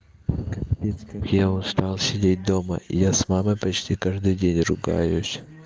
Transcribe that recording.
капец как я устал сидеть дома и я с мамой почти каждый день ругаюсь